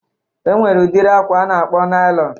E nwere udiri akwa a na-akpọ nailọn